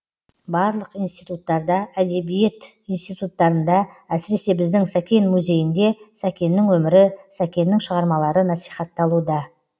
барлық институттарда әдебиет институттарында әсіресе біздің сәкен музейінде сәкеннің өмірі сәкеннің шығармалары насихатталуда